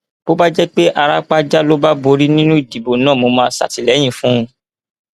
bó bá jẹ pé árápájá ló borí nínú ìdìbò náà mo máa ṣàtìlẹyìn fún un